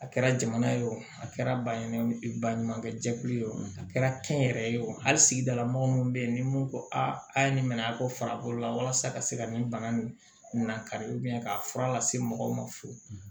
A kɛra jamana ye o a kɛra baɲumankɛw baɲumankɛ jɛkulu ye o kɛra kɛnyɛrɛ ye wo hali sigidala mɔgɔ minnu bɛ yen ni mun ko a ye nin minɛ a kɔ farikolo la walasa ka se ka nin bana nin na kari k'a fura lase mɔgɔw ma fɔlɔ